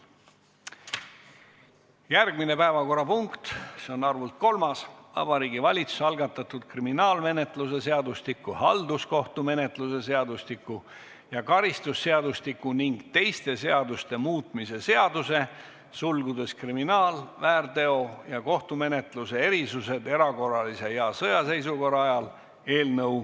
Järgmine päevakorrapunkt on kolmas: Vabariigi Valitsuse algatatud kriminaalmenetluse seadustiku, halduskohtumenetluse seadustiku ja karistusseadustiku ning teiste seaduste muutmise seaduse eelnõu 114.